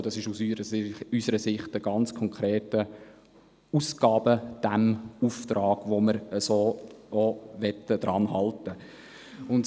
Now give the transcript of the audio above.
Dies ist aus unserer Sicht ein ganz konkreter Ausgabenauftrag, an dem wir festhalten wollen.